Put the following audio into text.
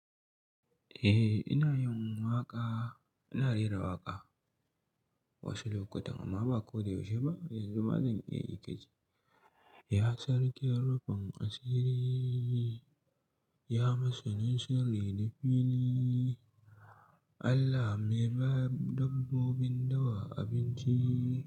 Eh, ina yin waƙa. Ina rera waƙa wasu lokuta, amma ba ko da yaushe ba. Yanzu ma zan iya yi ka ji. Ya Sarkin Rufin Asiri, ya masa ninsirri na fili. Allah me ba dabbobin dawa abinci.